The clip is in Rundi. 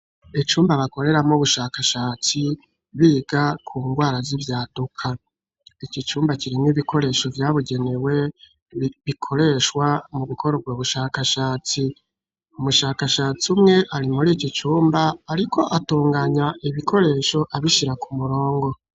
Icumba bakoreramwo, ubushakashatsi, biga ku ngwara, z'ivyaduka; iki cumba kirimwo, ibikoresho vyabugenewe, bikoreshwa mu gukora, ubwo bushakashatsi; umushakashatsi umwe, ari muri iki cumba, ariko atunganya ibikoresho, abishira ku murongo.